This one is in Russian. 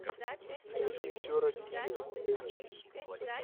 найди все ради нее эйч ди